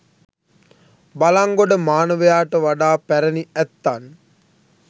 බළංගොඩ මානවයාට වඩා පැරැණි ඇත්තන්